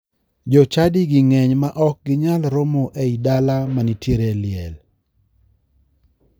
Jochadigi ng'eny ma ok ginyal romo e I dala manitiere liel.